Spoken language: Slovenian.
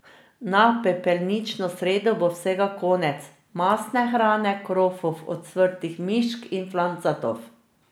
Na pepelnično sredo bo vsega konec, mastne hrane, krofov, ocvrtih mišk in flancatov.